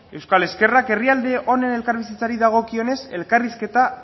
euskal ezkerrak herrialde honen elkarbizitzari dagokionez elkarrizketa